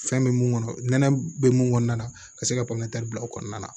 Fɛn bɛ mun kɔnɔ nɛnɛ bɛ mun kɔnɔn na ka se ka panpanti bila o kɔnɔna na